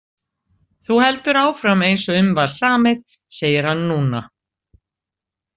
Þú heldur áfram eins og um var samið, segir hann núna.